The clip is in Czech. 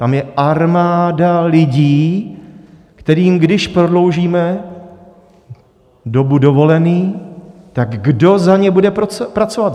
Tam je armáda lidí, kterým když prodloužíme dobu dovolených, tak kdo za ně bude pracovat?